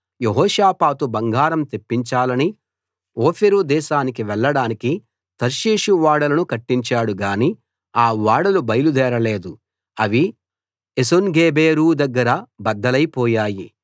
యెహోషాపాతు బంగారం తెప్పించాలని ఓఫీరు దేశానికి వెళ్ళడానికి తర్షీషు ఓడలను కట్టించాడు గానీ ఆ ఓడలు బయలుదేర లేదు అవి ఎసోన్గెబెరు దగ్గర బద్దలై పోయాయి